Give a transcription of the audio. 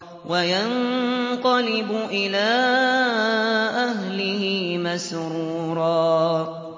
وَيَنقَلِبُ إِلَىٰ أَهْلِهِ مَسْرُورًا